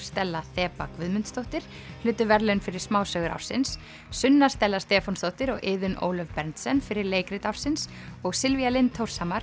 Stella Þeba Guðmundsdóttir hlutu verðlaun fyrir smásögur ársins Sunna Stella Stefánsdóttir og Iðunn Ólöf Berndsen fyrir leikrit ársins og Silvía Lind